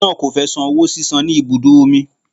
Ọkùnrin náà kò fẹ san owó sísan ní ibùdó omi.